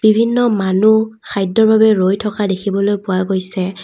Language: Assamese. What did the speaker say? বিভিন্ন মানুহ খাদ্যৰ বাবে ৰৈ থকা দেখিবলৈ পোৱা গৈছে।